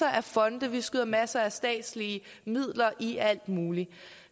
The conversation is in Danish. af fonde og vi skyder masser af statslige midler i alt muligt